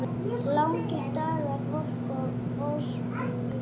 Langir dagar, volk og vosbúð.